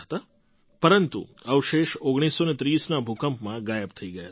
પરંતુ અવશેષ ૧૯૩૦ના ભૂકંપમાં ગાયબ થઈ ગયા હતા